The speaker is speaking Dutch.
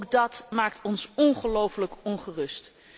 Ook dat maakt ons ongelooflijk ongerust.